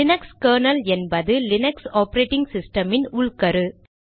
Linux kernel என்பது Linux operating சிஸ்டமின் உள்கரு